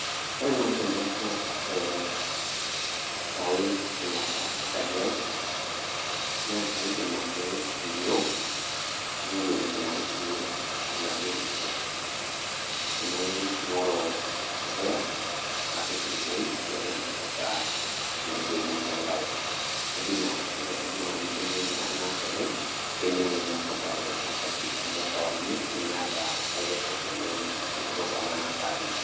Wore naai teneaku ee etawe shumata enkaji aai naa kaidim ake ainyio aingoru entoki naripie enaduo lusie kedimayu naingoru orpuya napik ine woji peitumoki ataa meibukoo enkare tadua inatoki ake aidim ataasa oleng teneaku etawe enkaji amu kewarie nemeeta eretoto nitum tonona saai.